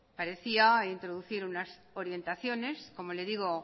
parecía introducir unas orientaciones como le digo